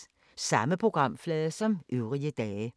Samme programflade som øvrige dage